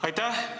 Aitäh!